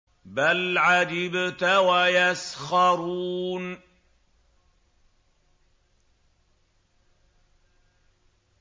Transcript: بَلْ عَجِبْتَ وَيَسْخَرُونَ